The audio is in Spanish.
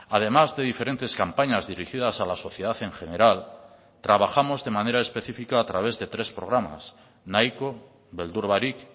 además de diferentes campañas dirigidas a la sociedad en general trabajamos de manera específica a través de tres programas nahiko beldur barik